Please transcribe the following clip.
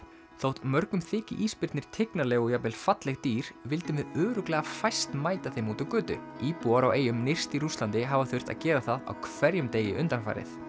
þótt mörgum þyki ísbirnir tignarleg og jafnvel falleg dýr vildum við örugglega fæst mæta þeim úti á götu íbúar á eyjum nyrst í Rússlandi hafa þurft að gera það á hverjum degi undanfarið